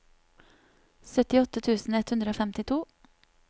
syttiåtte tusen ett hundre og femtito